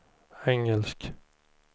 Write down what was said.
engelsk